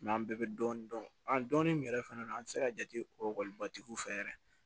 an bɛɛ bɛ dɔɔnin dɔn an dɔɔnin yɛrɛ fana an tɛ se ka jate o ekɔlibatigiw fɛ yɛrɛ